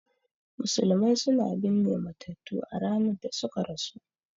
Musulmai suna binne matattu a ranar da suka rasu